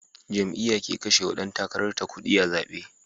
Jam'iya ke kashewa Dan takarar ta kudi da zabe